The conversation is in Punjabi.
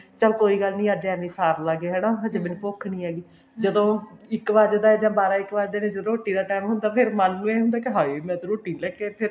ਚੱਲ ਕੋਈ ਗੱਲ ਨੀ ਅੱਜ ਐਵੇਂ ਹੀ ਸਾਰ ਲਾਂਗੇ ਹਨਾ ਹਜੇ ਮੈਨੂੰ ਭੁੱਖ ਨੀ ਹੈਗੀ ਜਦੋਂ ਇੱਕ ਵੱਜਦਾ ਜਾਂ ਬਾਰਾਂ ਇੱਕ ਵੱਜਦਾ ਤੇ ਜਦੋਂ ਰੋਟੀ ਦਾ time ਹੁੰਦਾ ਫ਼ੇਰ ਮਨ ਨੂੰ ਐ ਹੁੰਦਾ ਵੀ ਹਾਏ ਮੈਂ ਤਾਂ ਰੋਟੀ ਨੀ ਲੈਕੇ ਆਈ ਫੇਰ